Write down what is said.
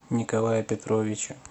николая петровича